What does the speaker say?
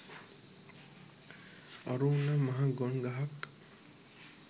අරූ නම් මහා ගොන් ගහක්